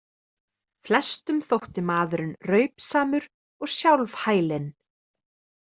Flestum þótti maðurinn raupsamur og sjálfhælinn.